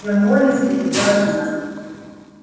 тем более средь бела дня